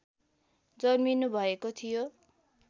जन्मिनु भएको थियो